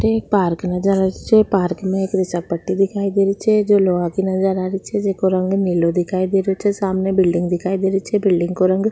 park नजर आ रो छे पार्क में एक फिसल पट्टी दिखाई दे री छे जो लोहा की नजर आ री छे जेको रंग नीलो दिखाई दे रो छे सामने बिलडिंग दिखाई दे री छे बिल्डिंग को रंग --